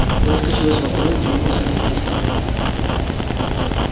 выскочил из вагона двинулся на пересадку